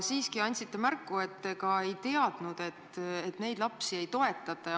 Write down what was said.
Samas andsite mõista, et te ei teadnudki, et neid lapsi ei toetata.